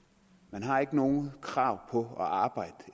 man har ikke noget krav på at arbejde